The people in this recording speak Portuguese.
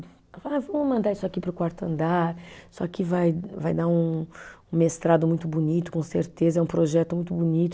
Ah vamos mandar isso aqui para o quarto andar, isso aqui vai, vai dar um um mestrado muito bonito, com certeza, é um projeto muito bonito.